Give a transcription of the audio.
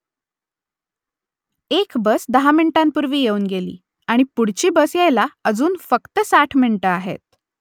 एक बस दहा मिनिटांपूर्वी येऊन गेली आणि पुढची बस यायला अजून फक्त साठ मिनिटं आहेत